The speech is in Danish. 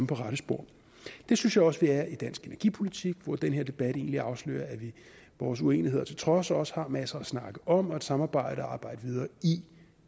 på rette spor det synes jeg også vi er i dansk energipolitik hvor den her debat egentlig afslører at vi vores uenigheder til trods også har masser at snakke om og et samarbejde at arbejde videre i